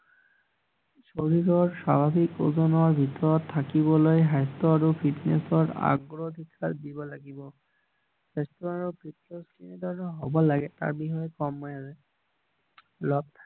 শৰীৰৰ স্বাভাৱিক ওজনৰ ভিতৰত থাকিবলৈ স্বাস্থ্য আৰু ফিত্নেচৰ অগ্ৰাধিকাৰ দিব লাগিব স্বাস্থ্য আৰু ফিত্নেচে কেনে ধৰণৰ হব লাগে তাৰ বিষয়ে কম মই আজি